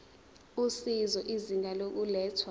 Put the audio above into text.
usizo izinga lokulethwa